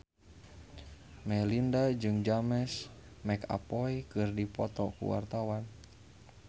Melinda jeung James McAvoy keur dipoto ku wartawan